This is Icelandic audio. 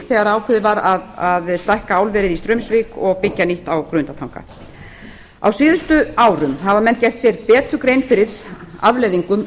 þegar ákveðið var að stækka álverið í straumsvík og byggja nýtt á grundartanga á síðustu árum hafa menn gert sér betur grein fyrir afleiðingum